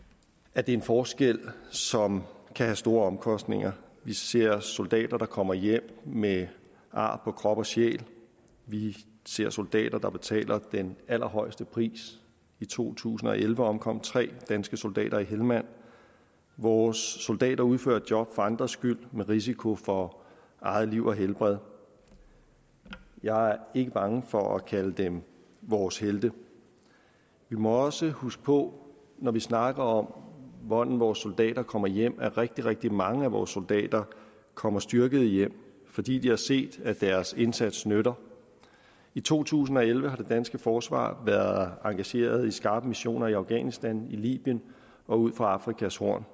at det er en forskel som kan have store omkostninger vi ser soldater der kommer hjem med ar på krop og sjæl vi ser soldater der betaler den allerhøjeste pris i to tusind og elleve omkom tre danske soldater i helmand vores soldater udfører et job for andres skyld med risiko for eget liv og helbred jeg er ikke bange for at kalde dem vores helte vi må også huske på når vi snakker om hvordan vores soldater kommer hjem at rigtig rigtig mange af vores soldater kommer styrkede hjem fordi de har set at deres indsats nytter i to tusind og elleve har det danske forsvar været engageret i skarpe missioner i afghanistan i libyen og ud for afrikas horn